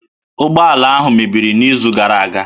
Ụgbọala ahụ mebiri n'izu gara aga